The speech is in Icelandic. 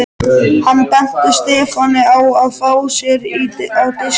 Hann benti Stefáni á að fá sér á diskinn.